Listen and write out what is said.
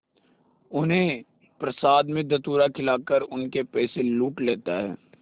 उन्हें प्रसाद में धतूरा खिलाकर उनके पैसे लूट लेता है